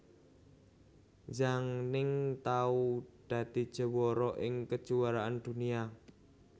Zhang Ning tau dadi juwara ing Kejuaraan Dunia